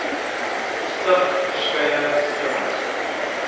stig verskeie skemas